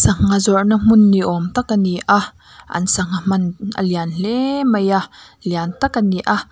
sangha zawrh na hmun ni awm tak ani a an sangha man a lian hle mai a lian tak ani a.